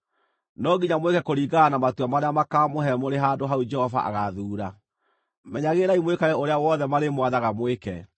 No nginya mwĩke kũringana na matua marĩa makaamũhe mũrĩ handũ hau Jehova agaathuura. Menyagĩrĩrai mwĩkage ũrĩa wothe marĩmwathaga mwĩke.